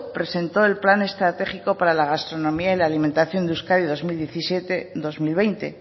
presentó el plan estratégico para la gastronomía y la alimentación de euskadi dos mil diecisiete dos mil veinte